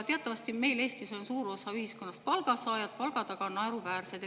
Teatavasti on meil Eestis suur osa ühiskonnast palgasaajad, palgad aga naeruväärsed.